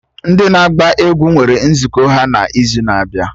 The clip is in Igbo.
Ndị na-agba egwú nwere nzukọ ha n'izu na-abịa